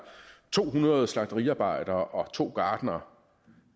to hundrede slagteriarbejdere og to gartnere